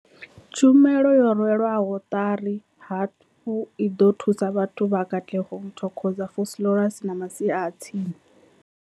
Tshumelo yo rwelwaho ṱari hafhu i ḓo thusa vhathu vha Katlehong, Thokoza, Vosloorus na masia a tsini.